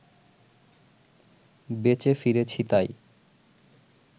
বেচে ফিরেছি তাই